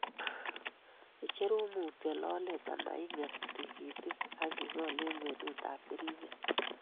icherun mutyo lolet ama ing'em tigitik ak igol eng' kwenutap keriinget.